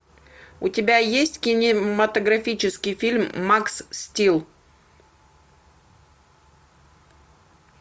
у тебя есть кинематографический фильм макс стил